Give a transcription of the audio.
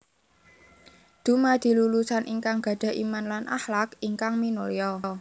Dumadi lulusan ingkang gadhah Iman lan akhlak ingkang minulya